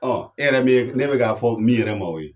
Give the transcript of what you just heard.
Ɔ e yɛrɛ min ye ne be k'a fɔ min yɛrɛ ma o ye